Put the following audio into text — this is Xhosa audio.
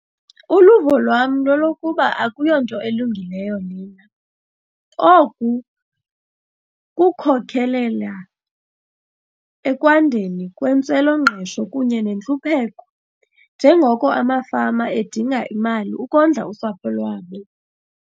Uluvo lwam lolokuba akuyonto elungileyo lena. Oku kukhokhelela ekwandeni kwentswelangqesho kunye nentlupheko njengoko amafama edinga imali ukondla usapho lwabo.